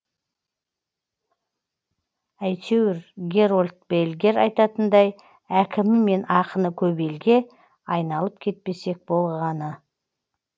әйтеуір герольд бельгер айтатындай әкімі мен ақыны көп елге айналып кетпесек болғаны